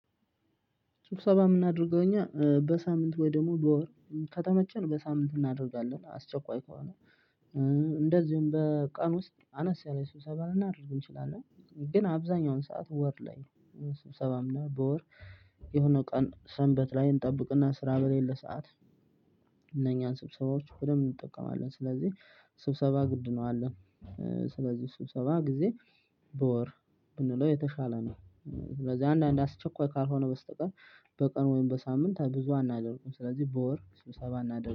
ስብሰባ የምናደርገው እኛ በሳምንት ወይ ደግሞ በወር ከተመቸን በሳምንት እናደርጋለን አስቸኳይ ከሆነ። እንደዚሁም በቀን ውስጥ አነስ ያለ ስብሰባ ልናደርግ እንችላለን። ግን አብዛኛውን ሰዓት ወር ላይ ስብሰባ እና በወር የሆነው ቀን ሰንበት ላይ እንጠብቅና ስራ በሌለ ሰዓት። እነኛን ስብሰባዎች ሁሉም እንጠቀማለን ስለዚህ ስብሰባ ግድ ነው አለ። ስለዚህ ስብሰባ ጊዜ በወር ብንለው የተሻለ ነው። ስለዚህ አንዳንድ አስቸኳይ ካልሆነ በስተቀር በቀን ወይም በሳምንት ብዙ አናደርግም ስለዚህ በወር ስብሰባ እናደርጋለን